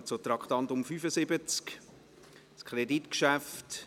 Wir kommen zum Traktandum 75, einem Kreditgeschäft.